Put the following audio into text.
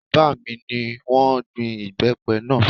Bàbá mi ni wọ́n gbin ìbẹ́pẹ náà